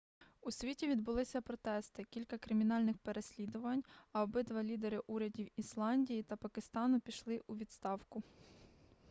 у світі відбулися протести кілька кримінальних переслідувань а обидва лідери урядів ісландії та пакистану пішли у відставку